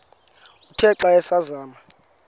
uthe xa asazama